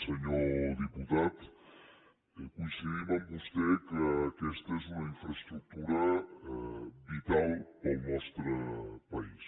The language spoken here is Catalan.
senyor diputat coincidim amb vostè que aquesta és una infraestructura vital per al nostre país